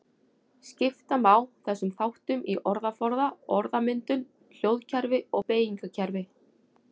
Skipta má þessum þáttum í orðaforða, orðmyndun, hljóðkerfi og beygingarkerfi.